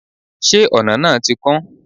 se ona náá ti kún?